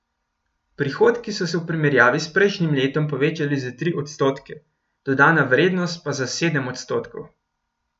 Prihodki so se v primerjavi s prejšnjim letom povečali za tri odstotke, dodana vrednost pa za sedem odstotkov.